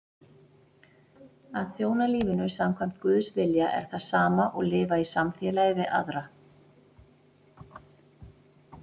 Að þjóna lífinu samkvæmt Guðs vilja er það sama og lifa í samfélagi við aðra.